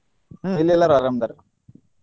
ಹ್ಮ್ ಇಲ್ಲಿ ಎಲ್ಲಾರು ಆರಾಮ್ ಅದಾರ್.